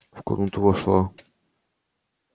в комнату вошла